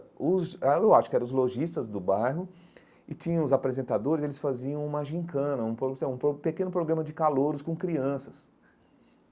Os ah eu acho que eram os lojistas do bairro e tinham os apresentadores, eles faziam uma gincana, um pro então um pequeno programa de calouros com crianças.